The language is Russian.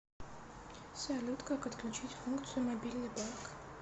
салют как отключить функцию мобильный банк